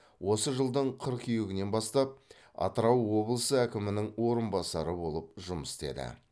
осы жылдың қыркүйегінен бастап атырау облысы әкімінің орынбасары болып жұмыс істеді